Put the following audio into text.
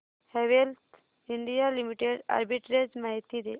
Havells India limited arbitrage माहिती दे